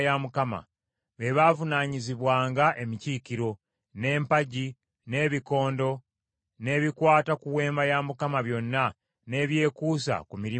Be baavunaanyizibwanga emikiikiro, n’empagi, n’ebikondo, n’ebikwata ku Weema ya Mukama byonna n’ebyekuusa ku mirimu gyayo.